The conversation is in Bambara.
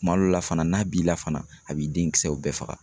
Kuma dɔw la fana n'a b'i la fana a b'i denkisɛw bɛɛ faga.